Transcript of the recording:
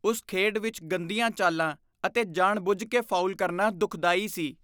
ਉਸ ਖੇਡ ਵਿੱਚ ਗੰਦੀਆਂ ਚਾਲਾਂ ਅਤੇ ਜਾਣਬੁੱਝ ਕੇ ਫਾਉਲ ਕਰਨਾ ਦੁਖਦਾਈ ਸੀ।